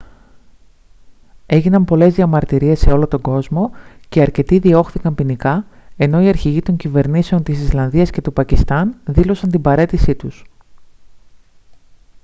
έγιναν πολλές διαμαρτυρίες σε όλο τον κόσμο και αρκετοί διώχθηκαν ποινικά ενώ οι αρχηγοί των κυβερνήσεων της ισλανδίας και του πακιστάν δήλωσαν την παραίτησή τους